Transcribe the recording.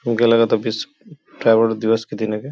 हमके लगता विश्व दिवस के दिना के --